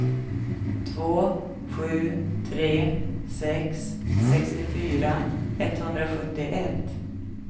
två sju tre sex sextiofyra etthundrasjuttioett